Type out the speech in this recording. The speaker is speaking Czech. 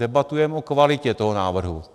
Debatujeme o kvalitě toho návrhu.